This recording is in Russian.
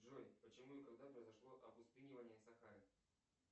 джой почему и когда произошло опустынивание сахары